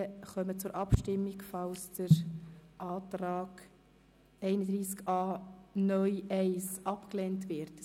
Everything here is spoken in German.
Sie kommen zur Abstimmung, wenn der Antrag zu Artikel 31a (neu) Absatz 1 abgelehnt wird.